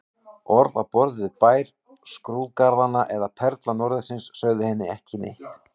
Orð á borð við Bær skrúðgarðanna eða Perla norðursins sögðu henni ekki neitt.